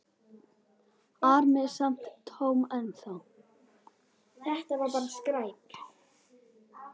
ar mig samt Tom ennþá.